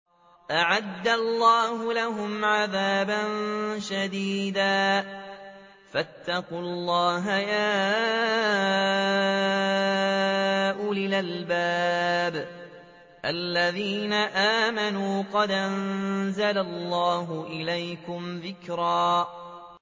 أَعَدَّ اللَّهُ لَهُمْ عَذَابًا شَدِيدًا ۖ فَاتَّقُوا اللَّهَ يَا أُولِي الْأَلْبَابِ الَّذِينَ آمَنُوا ۚ قَدْ أَنزَلَ اللَّهُ إِلَيْكُمْ ذِكْرًا